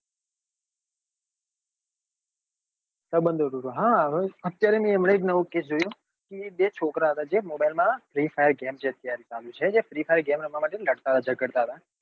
હા અત્યારે મેં હમણાં એક નવો case જોયું કે બે છોકરા હતા જે mobile માં જે free fire game જે અત્યારે ચાલુ છે એ free fire game રમવા માટે લડતા હતા જગાડતા હતા.